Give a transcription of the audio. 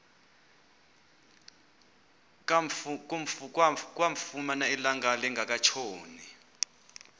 kamfumana ilanga lingekatshoni